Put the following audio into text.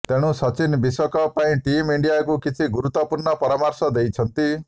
ତେଣୁ ସଚିନ ବିଶ୍ୱକପ୍ ପାଇଁ ଟିମ୍ ଇଣ୍ଡିଆକୁ କିଛି ଗୁରୁତ୍ତ୍ୱପୂର୍ଣ୍ଣ ପରାମର୍ଶ ଦେଇଛନ୍ତି